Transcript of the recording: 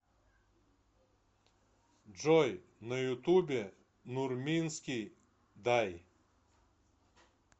джой на ютубе нурминский дай